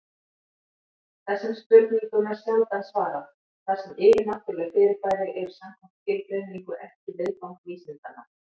Þessum spurningum er sjaldan svarað, þar sem yfirnáttúruleg fyrirbæri eru samkvæmt skilgreiningu ekki viðfang vísindanna.